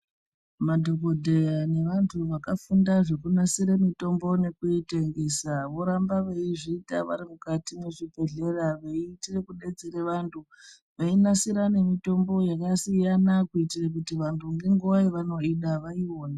Madhogodheya nevantu vakafunda zvekunasira mitombo nekuitengesa. Voramba veiziita vari mukati mezvibhedhlera veiitire kubetsere vantu. Veinasira nemitombo yakasiyana kuitire kuti vantu ngenguva yavanoida vaione.